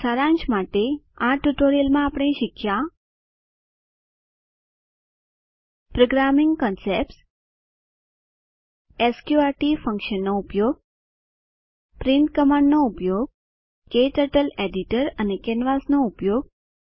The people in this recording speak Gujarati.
સારાંશ માટે આ ટ્યુટોરીયલમાં આપણે શીખ્યા પ્રોગ્રામિંગ કન્સેપ્ટ્સ સ્ક્ર્ટ ફન્કશનનો ઉપયોગ પ્રિન્ટ કમાન્ડનો ઉપયોગ ક્ટર્ટલ એડિટર અને કેનવાસ નો ઉપયોગ